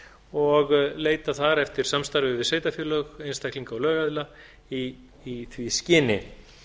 og leita eftir samstarfi við sveitarfélög einstaklinga og lögaðila í því skyni